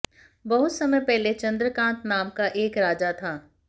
बहुत समय पहले चन्द्रकान्त नाम का एक राजा था